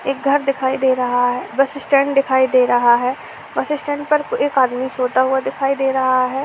एक घर दिखाई दे रहा है। बस स्टैंड दिखाई दे रहा है| बस स्टैंड पर एक आदमी सोता हुआ दिखाई दे रहा है।